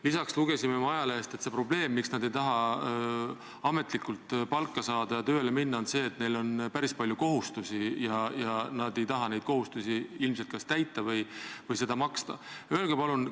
Lisaks lugesime ajalehest, et see probleem, miks nad ei taha ametlikult palka saada ja tööle minna, on see, et neil on päris palju kohustusi ja nad ei taha neid kohustusi ilmselt kas täita või seda maksta.